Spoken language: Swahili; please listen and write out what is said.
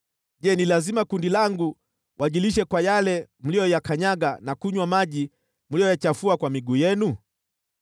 Je, ni lazima kundi langu wajilishe kwa yale mliyoyakanyaga na kunywa maji mliyoyachafua kwa miguu yenu?